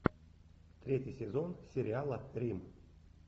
третий сезон сериала рим